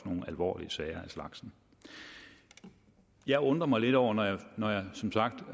nogle alvorlige sager af slagsen jeg undrer mig lidt over når når jeg som sagt